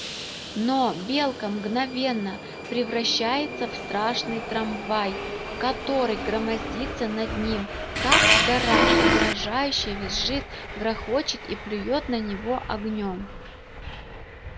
но белка мгновенно превращается в страшный трамвай который громоздится над ним как гора угрожающе визжит грохочет и плюёт на него огнём